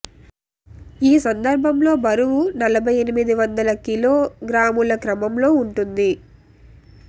ఈ సందర్భంలో బరువు నలభై ఎనిమిది వందల కిలోగ్రాముల క్రమంలో ఉంటుంది